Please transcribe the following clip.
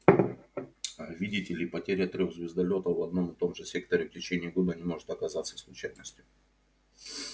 аа видите ли потеря трёх звездолётов в одном и том же секторе в течение года не может оказаться случайностью